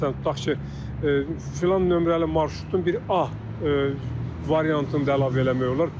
Məsələn, tutaq ki, filan nömrəli marşrutun bir A variantını əlavə eləmək olar.